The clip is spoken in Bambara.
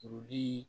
Kuruli